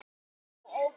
Já, ok.